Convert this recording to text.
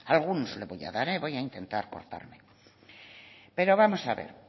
algunos le voy a dar eh voy a intentar cortarme pero vamos a ver